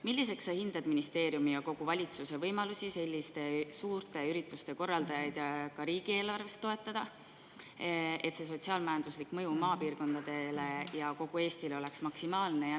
Milliseks sa hindad ministeeriumi ja kogu valitsuse võimalusi selliste suurte ürituste korraldajaid ka riigieelarvest toetada, et see sotsiaal-majanduslik mõju maapiirkondadele ja kogu Eestile oleks maksimaalne?